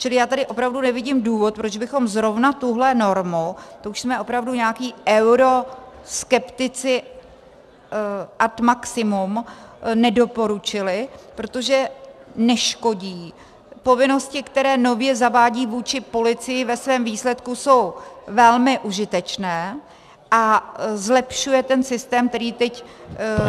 Čili já tady opravdu nevidím důvod, proč bychom zrovna tuhle normu, to už jsme opravdu nějací euroskeptici ad maximum, nedoporučili, protože neškodí, povinnosti, které nově zavádí vůči policii, ve svém výsledku jsou velmi užitečné, a zlepšuje ten systém, který teď funguje.